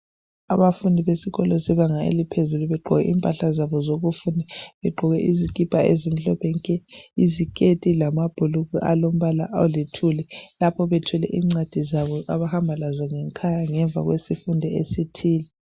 Abafundi besikolo sebanga eliphezulu begqoke impahla zabo zokufunda, begqoke izikipa ezimhlophe nke. iziketi lamabhulugwa alombala alithuli. Lapho bethwele incwadi zabo abahamba lazo ngekhaya ngemva kwesifundo esithile.